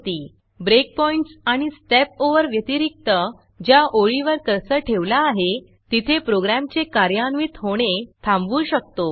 breakpoints आणि stepovers व्यतिरिक्त ज्या ओळीवर कर्सर ठेवला आहे तिथे प्रोग्रॅमचे कार्यान्वित होणे थांबवू शकतो